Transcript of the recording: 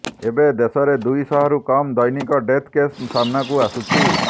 ଏବେ ଦେଶରେ ଦୁଇ ଶହରୁ କମ୍ ଦୈନିକ ଡେଥ୍ କେସ ସାମନାକୁ ଆସୁଛି